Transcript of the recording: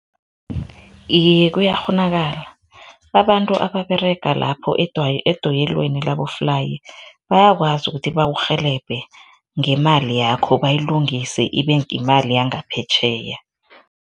Iye, kuyakghonakala, abantu ababerega lapho edoyelweni laboflayi, bayakwazi ukuthi bakurhelebhe ngemali yakho bayilungise, ibeyimali yangaphetjheya.